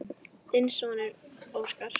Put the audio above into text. Þinn sonur, Óskar.